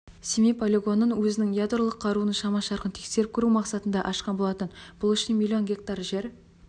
семей полигонын өзінің ядролық қаруының шама-шарқын тексеріп көру мақсатында ашқан болатын бұл үшін миллион гектар жер